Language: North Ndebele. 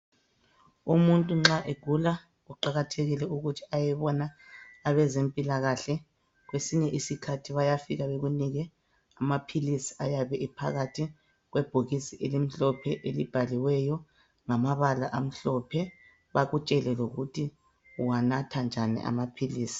Umuntu nxa egula kuqakathekile ukuthi ayebona abezempilakahle kwesinye isikhathi bayafika bekunike amaphilisi ayabe ephakathi kwebhokisi elimhlophe elibhaliweyo ngamabala amhlophe, bakutshele lokuthi uwanatha njani amaphilisi.